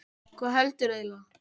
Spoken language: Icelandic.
Hvað heldurðu eiginlega?